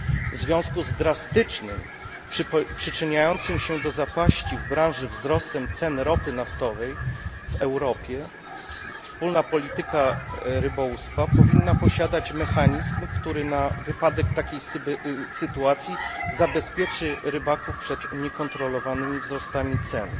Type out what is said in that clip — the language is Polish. W związku z drastycznym, przyczyniającym się do zapaści w branży, wzrostem cen ropy naftowej w Europie wspólna polityka rybołówstwa powinna posiadać mechanizm, który na wypadek takich sytuacji zabezpieczy rybaków przed niekontrolowanymi wzrostami cen.